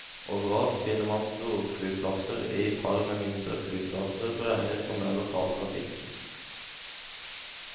Overalt finner man storflyplasser i par med mindre flyplasser beregnet for mer lokal trafikk.